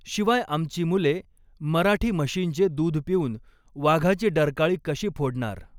शिवाय आमची मुले मराठी म्हशींचे दूध पिऊन वाघाची डरकाळी कशी फोडणार